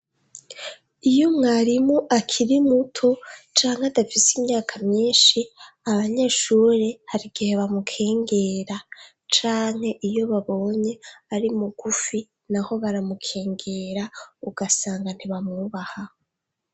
Iyo mwarimu akiri muto canke adafise imyaka myinshi abanyeshuri hari igihe bamukengera, canke iyo babonye ari mugufi naho baramukengera, ugasanga ntibamwubaha.